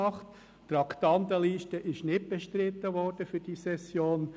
Die Traktandenliste für diese Session ist nicht bestritten worden.